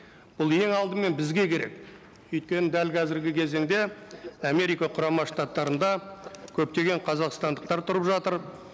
бұл ең алдымен бізге керек өйткені дәл қазіргі кезеңде америка құрама штаттарында көптеген қазақстандықтар тұрып жатыр